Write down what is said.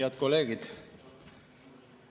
Head kolleegid!